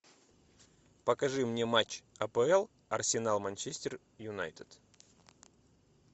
покажи мне матч апл арсенал манчестер юнайтед